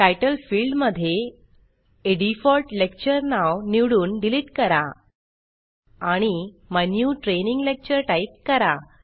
तितले field मध्ये आ default lecture नाव निवडून डिलीट करा आणि my new training lecture type करा